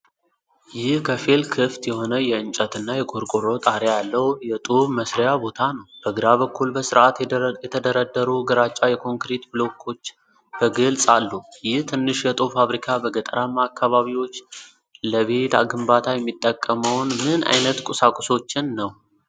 ይህ ከፊል ክፍት የሆነ የእንጨትና የቆርቆሮ ጣሪያ ያለው የጡብ መሥሪያ ቦታ ነው። በግራ በኩል በስርዓት የተደረደሩ ግራጫ የኮንክሪት ብሎኮች በግልጽ አሉ። ይህ ትንሽ የጡብ ፋብሪካ በገጠራማ አካባቢዎች ለቤት ግንባታ የሚጠቀመው ምን ዓይነት ቁሳቁሶችን ነው?